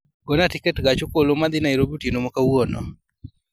gona tiket ma gach okoloma dhi nairobi otieno ma kawuono